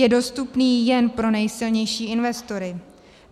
Je dostupný jen pro nejsilnější investory.